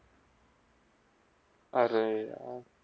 अरे यार!